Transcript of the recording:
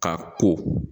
Ka ko